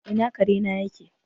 Ina kare na yake?